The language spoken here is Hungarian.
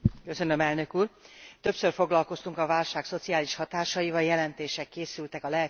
Többször foglalkoztunk a válság szociális hatásaival, jelentések készültek a lehetséges megoldásokról.